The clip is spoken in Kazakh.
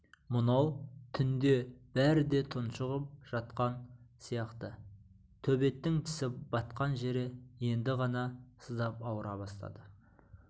мынау түнде бәрі де тұншығып жатқан сияқты төбеттің тісі батқан жер енді ғана сыздап ауыра бастады